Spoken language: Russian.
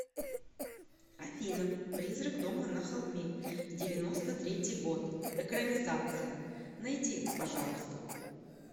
афина призрак дома на холме девяносто третий год экранизация найди пожалуйста